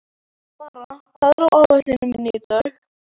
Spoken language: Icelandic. Mara, hvað er á áætluninni minni í dag?